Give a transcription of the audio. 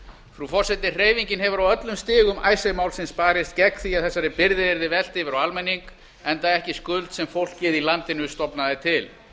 frú forseti hreyfingin hefur á öllum stigum icesave málsins barist gegn því að þessari byrði yrði velt yfir á almenning enda ekki skuld sem fólkið í landinu stofnaði til